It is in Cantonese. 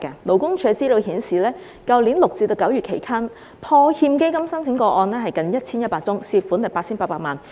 勞工處資料顯示，去年6月至9月期間，破欠基金申請個案近 1,100 宗，涉款 8,800 萬元。